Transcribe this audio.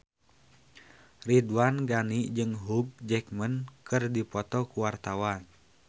Ridwan Ghani jeung Hugh Jackman keur dipoto ku wartawan